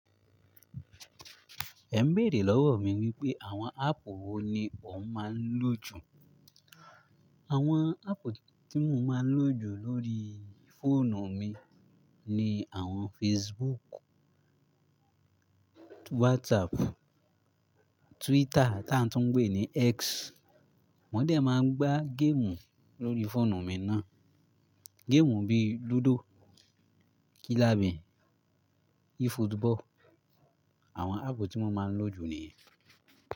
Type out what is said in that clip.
Ẹ ń béèrè lọ́wọ́ mi wípé àwọn áàpù wo ni mo máa ń lò jù. Àwọn áàpù tí mo máa ń lò jù lórí fóònù mi ni àwọn Facebook, WhatsApp, Twitter tá ń tún ń pé ní X. Mo dé máa ń gbá géèmù lórí fóònù mi náà. Géèmù bí i lúdò, kílàbì, efootball. Àwọn áàpù tí mo máa ń lò jù nìyẹn.